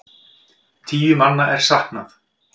Tíu manna er saknað.